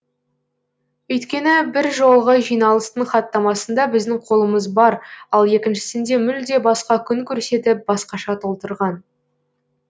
өйткені бір жолғы жиналыстың хаттамасында біздің қолымыз бар ал екіншісінде мүлде басқа күн көрсетііп басқаша толтырған